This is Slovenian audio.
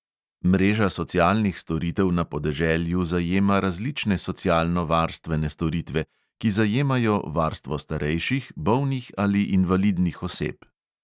Mreža socialnih storitev na podeželju zajema različne socialno varstvene storitve, ki zajemajo varstvo starejših, bolnih ali invalidnih oseb.